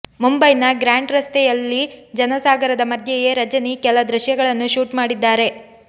ಮುಂಬೈನ ಗ್ರ್ಯಾಂಡ್ ರಸ್ತೆಯಲ್ಲಿ ಜನ ಸಾಗರದ ಮಧ್ಯೆಯೇ ರಜನಿ ಕೆಲ ದೃಶ್ಯಗಳನ್ನು ಶೂಟ್ ಮಾಡಿದ್ದಾರೆ